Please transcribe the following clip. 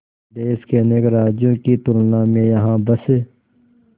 देश के अनेक राज्यों की तुलना में यहाँ बस